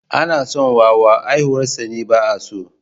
Ana son wawa, haihuwarsa ne ba’a so.